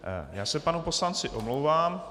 Já se panu poslanci omlouvám.